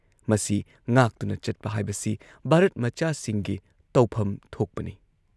ꯃꯁꯤ ꯉꯥꯛꯇꯨꯅ ꯆꯠꯄ ꯍꯥꯏꯕꯁꯤ ꯚꯥꯔꯠꯃꯆꯥꯁꯤꯡꯒꯤ ꯇꯧꯐꯝ ꯊꯣꯛꯄꯅꯤ ꯫